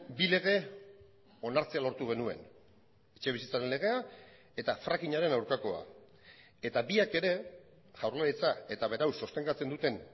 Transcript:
bi lege onartzea lortu genuen etxebizitzaren legea eta frackingaren aurkakoa eta biak ere jaurlaritza eta berau sostengatzen duten